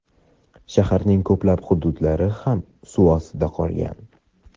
shaharning ko‘plab hududlari ham suv ostida qolgan.